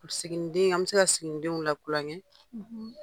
Siginiden an bɛ se ka siginidenw lakulonkɛ,